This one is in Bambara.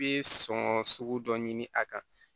I bɛ sɔn sugu dɔ ɲini a kan